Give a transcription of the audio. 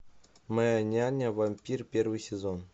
моя няня вампир первый сезон